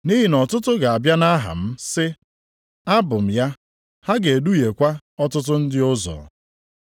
Nʼihi na ọtụtụ ga-abịa nʼaha m sị, ‘Abụ m ya.’ Ha ga-eduhiekwa ọtụtụ ndị ụzọ.